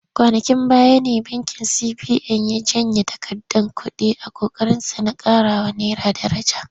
Kwanankin baya ne bankin CBN ya janye kuɗaɗe a ƙoƙarinsa na ƙarawa naira daraja.